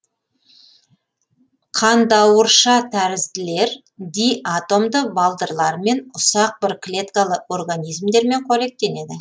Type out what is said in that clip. қандауыршатәрізділер диатомды балдырлармен ұсақ бір клеткалы организмдермен қоректенеді